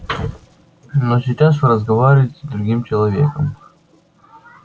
но сейчас вы разговариваете с другим человеком